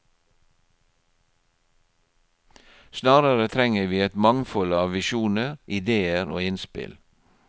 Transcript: Snarere trenger vi et mangfold av visjoner, idéer og innspill.